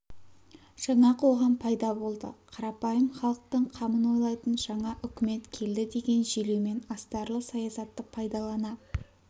жаңа қоғам пайда болды қарапайым халықтың қамын ойлайтын жаңа үкімет келді деген желеумен астарлы саясатты пайдалана